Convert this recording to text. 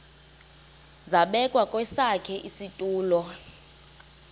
zabekwa kwesakhe isitulo